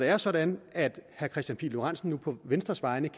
er sådan at herre kristian pihl lorentzen på venstres vegne